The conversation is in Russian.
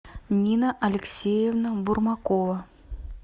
нина алексеевна бурмакова